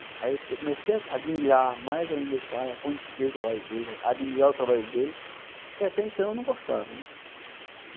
Aí eu comecei a admirar mais ainda meu pai, a conhecer o trabalho dele, a admirar o trabalho dele, que até então eu não gostava, né?